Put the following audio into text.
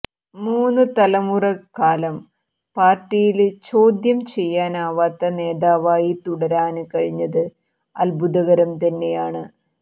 മൂന്നുതലമുറക്കാലം പാര്ട്ടിയില് ചോദ്യം ചെയ്യാനാവാത്ത നേതാവായി തുടരാന് കഴിഞ്ഞത് അദ്ഭുതകരം തന്നെയാണ്